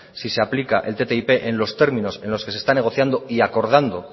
si se aplica el ttip en los términos en los que se está negociando y acordando